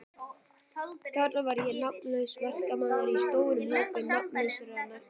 Þarna var ég nafnlaus verkamaður í stórum hópi nafnlausra verkamanna.